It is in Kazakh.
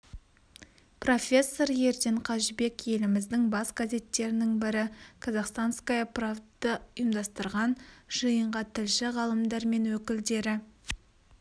профессор ерден қажыбек еліміздің бас газеттерінің бірі казахстанская правда ұйымдастырған жиынға тілші ғалымдар мен өкілдері